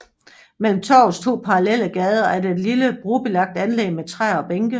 Mellem torvets to parallelle gader er der et lille brolagt anlæg med træer og bænke